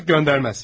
Artıq göndərməz.